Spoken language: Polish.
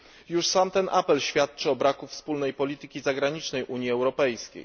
Już sam ten apel świadczy o braku wspólnej polityki zagranicznej Unii Europejskiej.